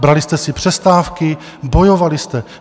Brali jste si přestávky, bojovali jste.